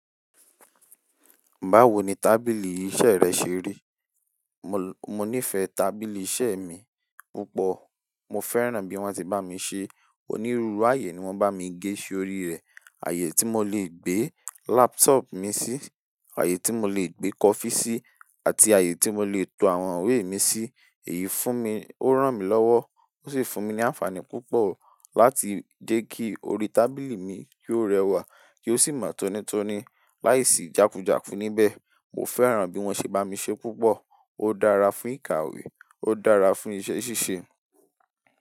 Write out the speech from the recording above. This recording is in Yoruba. Báwo ni tábìlì iṣẹ́ rẹ ṣe rí? Mo, mo nífẹ̀ẹ́ tábìlì iṣẹ́ mi púpọ̀. Mo fẹ́ràn bí wọ́n ṣe bá mi ṣe. Onírúurú ààyè ni wọ́n bá mi gẹ́ sorí rẹ̀. Ààyè tí mo lè gbé laptop mi sí, ààyè tí mo lè gbé coffee sí, àti ààyè tí mo lè tò àwọn ìwé mi sí. Èyí fún mi, ó ràn mí lọ́wọ́, ó sì fún mi ní àǹfààní púpọ̀ láti jẹ́ kí orí tábìlì mi kó rẹwà, kí ó sì mọ́ tónítóní láìsí jákújáku níbẹ̀. Mo fẹ́ràn bí wọ́n ṣe bá mi ṣe púpọ̀. Ó dára fún ìkàwé, ó dára fún iṣẹ́ ṣíṣe.